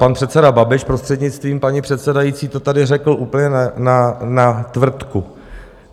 Pan předseda Babiš, prostřednictvím paní předsedající, to tady řekl úplně na tvrdku.